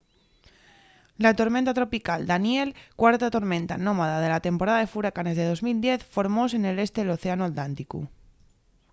la tormenta tropical danielle cuarta tormenta nomada de la temporada de furacanes de 2010 formóse nel este del océanu atlánticu